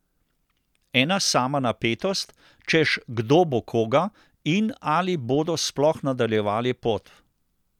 Ena sama napetost, češ kdo bo koga in ali bodo sploh nadaljevali pot.